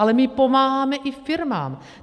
Ale my pomáháme i firmám.